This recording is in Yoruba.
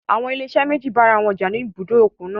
Àwọn ilé-iṣẹ́ méjì bá ara wọn jà ní ibùdó òkun náà.